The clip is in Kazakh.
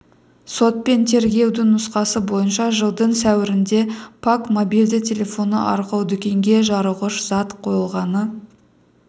сот пен тергеудің нұсқасы бойынша жылдың сәуірінде пак мобильді телефоны арқылы дүкенге жарылғыш зат қойылғаны